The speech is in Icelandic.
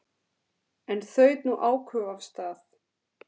En þaut nú áköf af stað.